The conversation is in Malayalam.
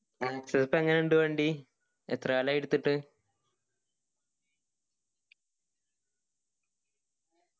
access എങ്ങനെ ഇണ്ട് വണ്ടി എത്രകാലായി എടുത്തിട്ട